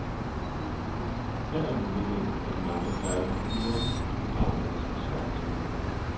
Her er muligheden, og de mange færdige figurer i programmet er som skabt til det.